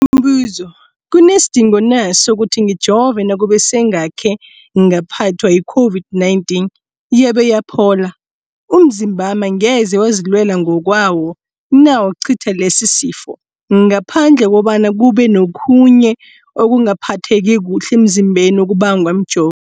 Umbuzo, kunesidingo na sokuthi ngijove nakube sengakhe ngaphathwa yi-COVID-19 yabe yaphola? Umzimbami angeze wazilwela ngokwawo na ukucitha lesisifo, ngaphandle kobana kube nokhunye ukungaphatheki kuhle emzimbeni okubangwa mjo